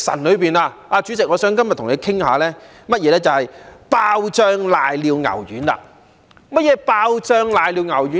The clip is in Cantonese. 主席，今天我想跟你談談"爆漿瀨尿牛丸"。何謂"爆漿瀨尿牛丸"？